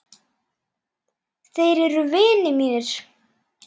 Þeir eru vinir mínir.